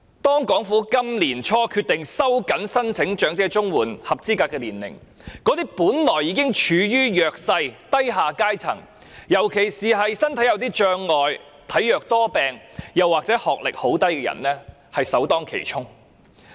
政府今年年初決定提高申請長者綜援的合資格年齡，令本來已經處於弱勢的低下階層，尤其是身體有障礙、體弱多病或學歷很低的人士首當其衝。